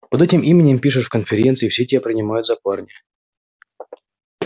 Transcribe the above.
под этим именем пишешь в конференции все тебя принимают за парня